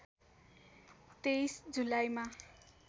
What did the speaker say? २३ जुलाईमा